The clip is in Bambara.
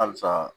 Halisa